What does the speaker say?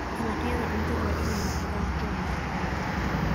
Dalagyada cuntadu waa inay noqdaan kuwo nafaqo leh.